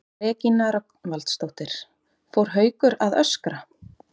Regína Rögnvaldsdóttir: Fór Haukur að öskra?